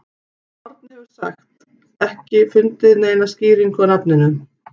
Árni hefur sem sagt ekki fundið neina skýringu á nafninu.